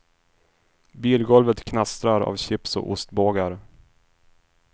Bilgolvet knastrar av chips och ostbågar.